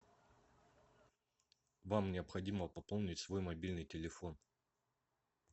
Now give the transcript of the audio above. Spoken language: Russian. вам необходимо пополнить свой мобильный телефон